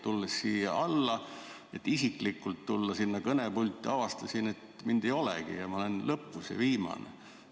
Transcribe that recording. Tulles siia alla, et isiklikult kõnepulti minna, avastasin, et mind ei olegi, õigemini ma olen loetelu lõpus, viimane.